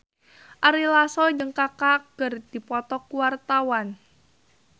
Ari Lasso jeung Kaka keur dipoto ku wartawan